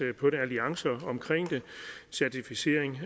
alliancerne omkring den og certificering